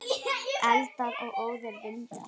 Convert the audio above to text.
Eldar og óðir vindar